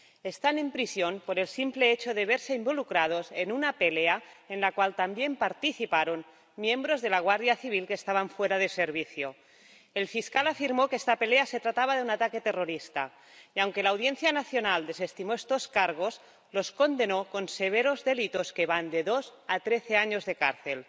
Están en prisión por el simple hecho de verse involucrados en una pelea en la cual también participaron miembros de la Guardia Civil que estaban fuera de servicio. El fiscal afirmó que se trataba de un ataque terrorista y, aunque la Audiencia Nacional desestimó estos cargos, los condenó con severos delitos que van de dos a trece años de cárcel.